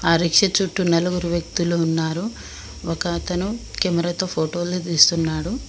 ఆ రిక్షా చుట్టూ నలుగురు వ్యక్తులు ఉన్నారు. ఒక అతను కెమెరా తో ఫోటో లు తీస్తున్నాడు.